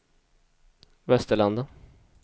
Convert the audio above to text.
Västerlanda